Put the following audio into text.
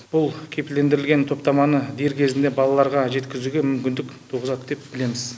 бұл кепілдендірілген топтаманы дер кезінде балаларға жеткізуге мүмкіндік туғызады деп білеміз